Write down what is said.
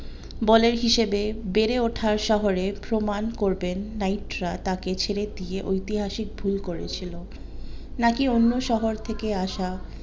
বলের হিসেবে বেড়ে ওঠা শহরে প্রমান করবেন নাইটরা তাকে ছেড়ে দিয়ে ঐতিহাসিক ভুল করে ছিল নাকি অন্য্ শহর থেকে আসা